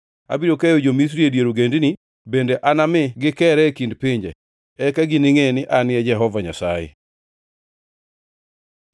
Abiro keyo jo-Misri e dier ogendini bende anami gikeree e kind pinje. Eka giningʼe ni An e Jehova Nyasaye.”